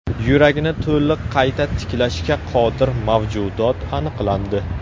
Yuragini to‘liq qayta tiklashga qodir mavjudot aniqlandi.